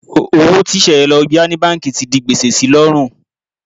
Owó tí Sẹ̀yẹ lọ yá ní báǹkì ti di gbèsè si lọ́rùn.